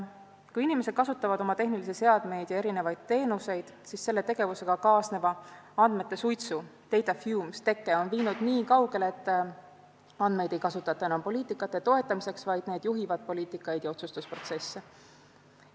Kui inimesed kasutavad oma tehnilisi seadmeid ja erinevaid teenuseid, siis selle tegevusega kaasneva andmete suitsu teke on viinud nii kaugele, et andmeid ei kasutata enam poliitikate toetamiseks, vaid need juhivad poliitikaid ja otsustusprotsesse.